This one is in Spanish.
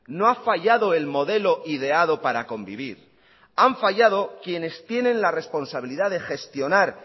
no ha fallado el modelo ideado para convivir han fallado quienes tienen la responsabilidad de gestionar